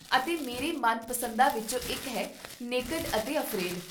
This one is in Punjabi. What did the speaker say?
ਅਤੇ ਮੇਰੇ ਮਨਪਸੰਦਾਂ ਵਿੱਚੋਂ ਇੱਕ ਹੈ 'ਨੇਕਡ' ਅਤੇ 'ਅਫਰੇਡ'